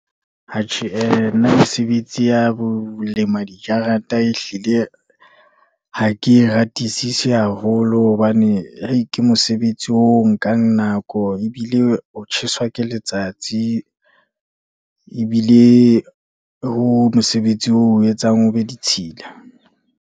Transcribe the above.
Atjhe ee, nna mesebetsi ya bo lema dikajata, ehlile ha ke e ratisisi haholo, hobane ke mosebetsi oo o nkang nako, ebile o tjheswa ke letsatsi. Ebile ho mosebetsi o etsang o be ditshila.